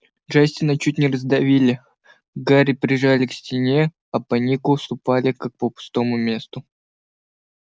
джастина чуть не раздавили гарри прижали к стене а по нику ступали как по пустому месту